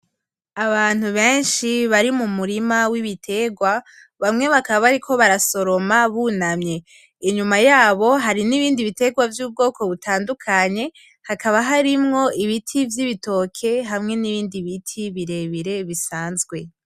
Abantu benshi bari mu murima w'ibitegwa, bamwe bakaba bariko barasoroma bunamye, inyuma yabo hari n'ibindi bitegwa vy'ubwoko butandukanye hakaba harimwo ibiti vy'ibitoke; hamwe n'ibindi biti birebire bisanzwe.